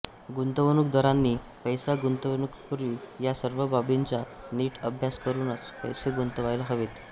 गुंतवणूकदारांनी पैसा गुंतवण्यापूर्वी या सर्व बाबींचा नीट अभ्यास करूनच पैसे गुंतवायला हवेत